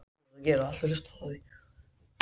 Það er ég.